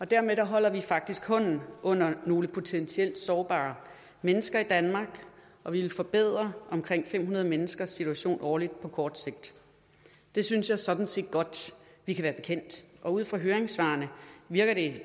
dermed holder vi faktisk hånden under nogle potentielt sårbare mennesker i danmark og vi vil forbedre omkring fem hundrede menneskers situation årligt på kort sigt det synes jeg sådan set godt vi kan være bekendt og ud fra høringssvarene virker det